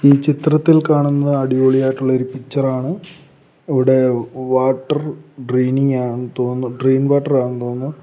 ഈ ചിത്രത്തിൽ കാണുന്ന അടിപൊളിയായിട്ടുള്ളൊരു പിക്ച്ചറാണ് ഇവടെ വാട്ടർ ഡ്രെയിനിംഗ് ആന്ന് തോന്നുന്നു ഡ്രെയിൻ വാട്ടർ ആന്ന് തോന്നുന്നു.